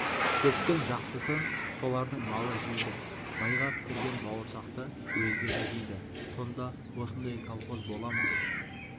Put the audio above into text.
шөптің жақсысын солардың малы жейді майға пісірген бауырсақты өздері жейді сонда осындай колхоз бола ма